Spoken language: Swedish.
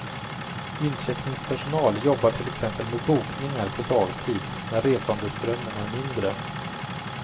Incheckningspersonal jobbar till exempel med bokningar på dagtid när resandeströmmen är mindre.